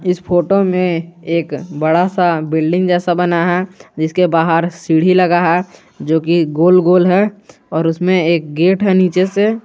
इस फोटो में एक बड़ा सा बिल्डिंग जैसा बना है जिसके बाहर सीढ़ी लगा है जो की गोल-गोल है और उसमें एक गेट है नीचे से।